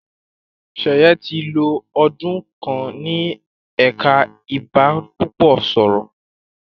Sheye tí lọ ọdún kán ní ẹka ibanipúpò sọrọ.